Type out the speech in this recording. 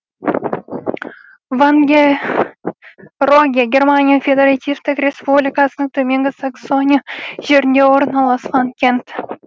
вангероге германия федеративтік республикасының төменгі саксония жерінде орналасқан кент